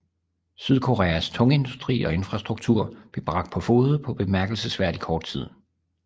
Sydkoreas tungindustri og infrastruktur blev bragt på fode på bemærkelsesværdig kort tid